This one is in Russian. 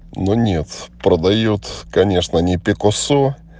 но нет продаёт конечно не пикассо